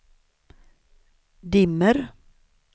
dimmer